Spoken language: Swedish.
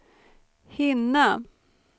hinna